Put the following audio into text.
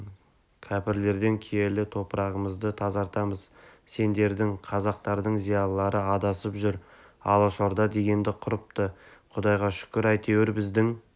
кәпірлерден киелі топырағымызды тазартамыз сендердің қазақтардың зиялылары адасып жүр алашорда дегенді құрыпты құдайға шүкір әйтеуір біздің